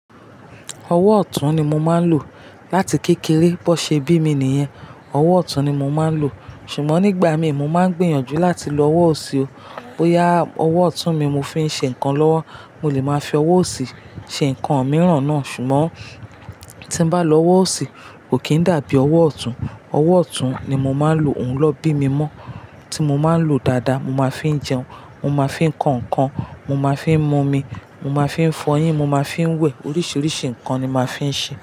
Ọwọ́ ọ̀tún ni mo máa ń lò láti kékeré. Bọ́ ṣe bí mi nìyẹn, ọwọ́ ọ̀tún ni mo máa ń lò. Ṣùgbọ́n nígbà mí, mo máa ń gbìyànjú láti lo ọwọ́ òsì o. Ó ya, ọwọ́ ọ̀tún mi mo fi ń ṣe nǹkan lọ́wọ́. Mo lè máa fi ọwọ́ òsì ṣe nǹkan mìíràn náà. Ṣùgbọ́n tí n bá lo ọwọ́ òsì, kò kín dàbí ọwọ́ ọ̀tún. Ọwọ́ ọ̀tún ni mo máa ń lò. Òun lọ bí mi mọ́. Tí mo máa ń lò dáadáa, mo máa fi ń jẹun, mo máa fi ń kọ nǹkan, mo máa fi ń mu omi, mo máa fi ń fọyín, mo máa fi ń wẹ̀. Oríṣiríṣi nǹkan ni mo máa fi ń ṣe.